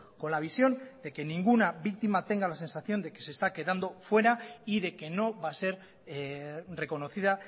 con la visión de que ninguna víctima tenga la sensación de que se está quedando fuera y de que no va a ser reconocida